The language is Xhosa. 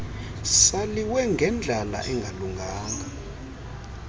saliwe ngendlala engalunganga